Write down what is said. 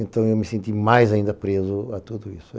Então eu me senti mais ainda preso a tudo isso.